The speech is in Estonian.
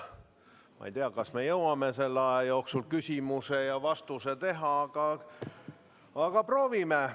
Ma ei tea, kas me jõuame selle aja jooksul küsimuse ja vastuse teha, aga proovime.